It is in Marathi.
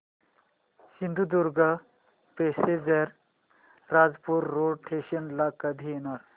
Sindhudurg passenger Rajapur road station ला कधी येणार